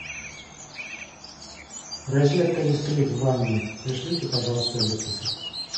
розетка искрит в ванной пришлите пожалуйста электрика